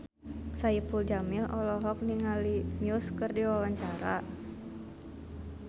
Saipul Jamil olohok ningali Muse keur diwawancara